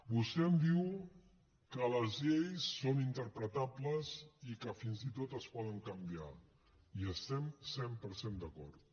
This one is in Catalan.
vostè em diu que les lleis són interpretables i que fins i tot es poden canviar hi estem cent per cent d’acord